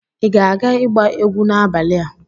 Ị ga-aga igba egwu n'abalị a?